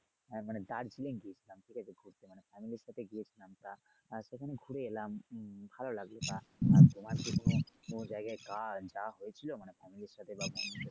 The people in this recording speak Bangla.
হ্যা মানে দার্জিলিং গিয়েছিলাম ঠিক আছে ঘুরতে মানে family এর সাথে গিয়েছিলাম তা আহ সেখানে ঘুরে এলাম উম ভালো লাগলো বা আহ তোমার কি কোন কোন জায়গায় গাছ মানে যা হয়েছিলো মানে।